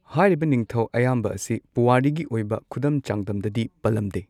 ꯍꯥꯏꯔꯤꯕ ꯅꯤꯡꯊꯧ ꯑꯌꯥꯝꯕ ꯑꯁꯤ ꯄꯨꯋꯥꯔꯤꯒꯤ ꯑꯣꯏꯕ ꯈꯨꯗꯝ ꯆꯥꯡꯗꯝꯗꯗꯤ ꯄꯜꯂꯝꯗꯦ꯫